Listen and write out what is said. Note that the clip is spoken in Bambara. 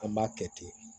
An b'a kɛ ten